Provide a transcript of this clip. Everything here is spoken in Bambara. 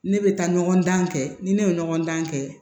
Ne bɛ taa ɲɔgɔn dan kɛ ni ne ye ɲɔgɔndan kɛ